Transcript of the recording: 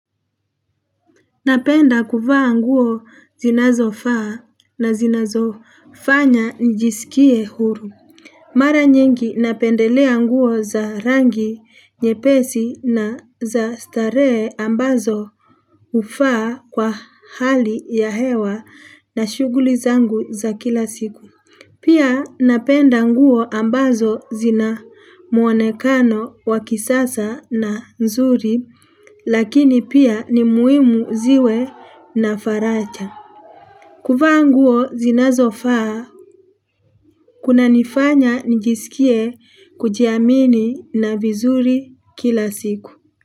Napenda kuvaa nguo zinazofaa na zinazo fanya njisikie huru. Mara nyingi napendelea nguo za rangi, nyepesi na za staree ambazo hufaa kwa hali ya hewa na shuguli zangu za kila siku. Pia napenda nguo, ambazo zina muonekano wakisasa na nzuri, lakini pia ni muimu ziwe na faraja. Kuvaa nguo zinazo faa, kuna nifanya nijisikie kujiamini na vizuri kila siku.